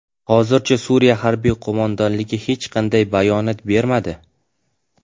Hozircha Suriya harbiy qo‘mondonligi hech qanday bayonot bermadi.